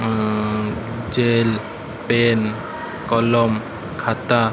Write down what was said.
ଆଁ chain pen କଲମ ଖାତା।